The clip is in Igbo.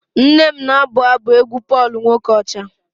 nne m na-abụ abụ Pọl nwokocha egwu